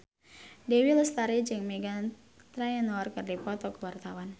Dewi Lestari jeung Meghan Trainor keur dipoto ku wartawan